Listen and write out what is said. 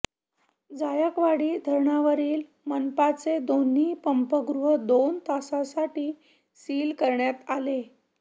जायकवाडी धरणावरील मनपाचे दोन्ही पंपगृह दोन तासांसाठी सील करण्यात आले